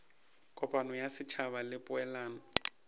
kopano ya setšhaba le poelano